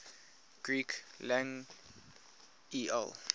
greek lang el